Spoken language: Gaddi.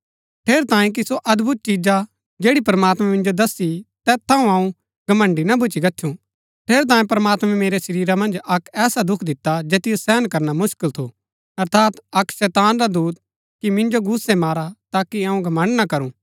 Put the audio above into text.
ठेरैतांये कि सो अदभुत चिजा जैड़ी प्रमात्मैं मिन्जो दस्सी तैत थऊँ अऊँ घमण्‍ड़ी ना भूच्ची गच्छु ठेरैतांये प्रमात्मैं मेरै शरीरा मन्ज अक्क ऐसा दुख दिता जैतिओ सहन करना मुसकल थू अर्थात अक्क शैतान रा दूत कि मिन्जो घूसै मारा ताकि अऊँ घमण्ड़ ना करूं